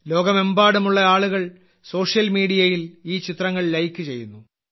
ലോകമെമ്പാടുമുള്ള ആളുകൾ സോഷ്യൽ മീഡിയയിൽ ഈ ചിത്രങ്ങൾ ലൈക്ക് ചെയ്യുന്നു